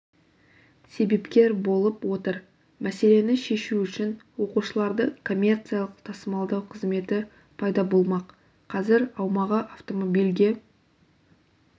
себепкер болып отыр мәселені шешу үшін оқушыларды коммерциялық тасымалдау қызметі пайда болмақ қазір аумағы автомобильге